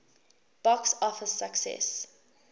box office success